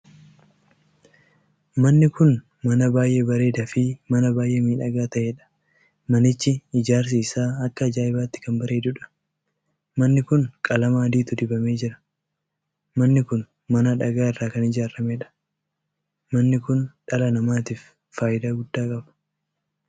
Manni kun mana baay'ee bareedaa fi mana baay'ee miidhagaa taheedha. manichi ijaarsi isaa akka ajaa'ibaatti kan bareeduudha. manni kun qalamaa adiitu dibamee jira. manni kun mana dhagaa irraa kan ijaarameedha. manni kun dhala namaatiif faayidaa guddaa qaba.